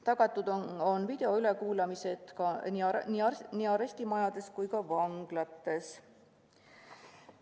Tagatud on videoülekuulamised nii arestimajades kui vanglates.